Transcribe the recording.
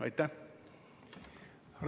Aitäh!